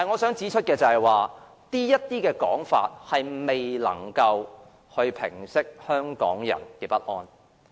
然而，他們這些說法並未能平息香港人的不安。